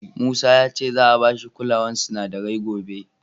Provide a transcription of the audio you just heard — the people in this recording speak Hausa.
Musa ya ce za'a ba shi kulawar sinadarai gobe.